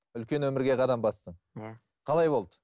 үлкен өмірге қадам бастың иә қалай болды